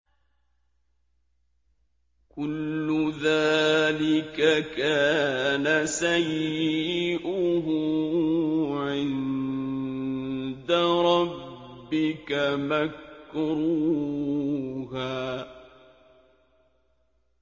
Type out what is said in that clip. كُلُّ ذَٰلِكَ كَانَ سَيِّئُهُ عِندَ رَبِّكَ مَكْرُوهًا